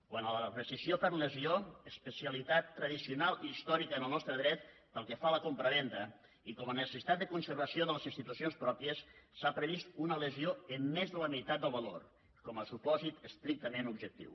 quant a la rescissió per lesió especialitat tradicional i històrica en el nostre dret pel que fa a la compravenda i com a necessitat de conservació de les institucions pròpies s’ha previst una lesió en més de la meitat del valor com a supòsit estrictament objectiu